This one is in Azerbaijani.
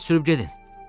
Tez sürüb gedin!